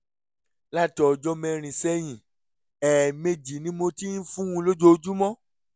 láti ọjọ́ mẹ́rin sẹ́yìn ẹ̀ẹ̀mejì ni mo ti ń fún un lójoojúmọ́